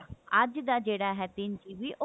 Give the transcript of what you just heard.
ਅੱਜ ਦਾ ਜਿਹੜਾ ਹੈ ਤਿੰਨ GB ਉਹ